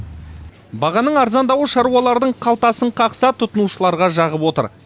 бағаның арзандауы шаруалардың қалтасын қақса тұтынушыларға жағып отыр